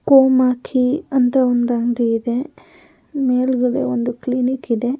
ಕೋಮಾಕಿ ಅಂತ ಒಂದು ಅಂಗಡಿ ಇದೆ ಮೇಲ್ಗಡೆ ಒಂದು ಕ್ಲಿನಿಕ್ ಇದೆ.